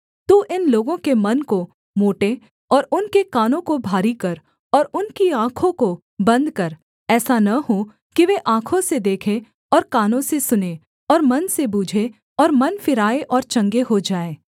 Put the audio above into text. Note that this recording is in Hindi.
तू इन लोगों के मन को मोटे और उनके कानों को भारी कर और उनकी आँखों को बन्द कर ऐसा न हो कि वे आँखों से देखें और कानों से सुनें और मन से बूझें और मन फिराएँ और चंगे हो जाएँ